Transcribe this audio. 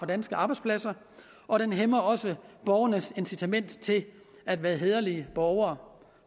danske arbejdspladser og det hæmmer også borgernes incitament til at være hæderlige borgere